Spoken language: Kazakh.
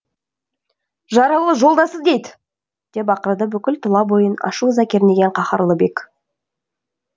жаралы жолдасы дейді деп ақырды бүкіл тұла бойын ашу ыза кернеген қаһарлы бек